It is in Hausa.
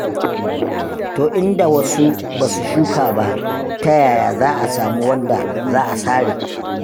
To in da wasu ba su shuka ba, ta yaya za a samu wanda za a sare.